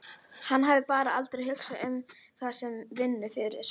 Hann hafði bara aldrei hugsað um það sem vinnu fyrr.